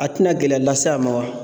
A tɛna gɛlɛya lase a ma wa ?